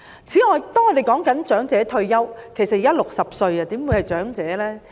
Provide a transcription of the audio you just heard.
此外，我們討論長者退休，其實現時60歲又怎可稱為長者呢？